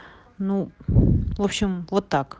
ну в общем вот так